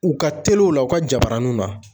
U ka telew la u ka jabaraninw na